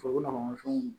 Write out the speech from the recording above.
fɛnw